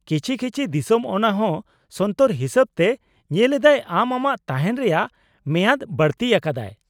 -ᱠᱤᱪᱷᱤ ᱠᱤᱪᱷᱤ ᱫᱤᱥᱚᱢ ᱚᱱᱟ ᱦᱚᱸ ᱥᱚᱱᱛᱚᱨ ᱦᱤᱥᱟᱹᱵ ᱛᱮ ᱧᱮᱞ ᱮᱫᱟᱭ ᱟᱢ ᱟᱢᱟᱜ ᱛᱟᱦᱮᱸᱱ ᱨᱮᱭᱟᱜ ᱢᱮᱭᱟᱫ ᱵᱟᱲᱛᱤ ᱟᱠᱟᱫᱟᱭ ᱾